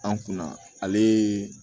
An kunna ale